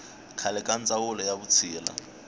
khale ka ndzawulo ya vutshila